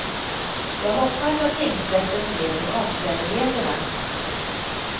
Jag hoppas att tingsrätten ser till omständigheterna.